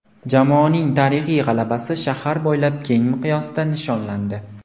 Jamoaning tarixiy g‘alabasi shahar bo‘ylab keng miqyosda nishonlandi.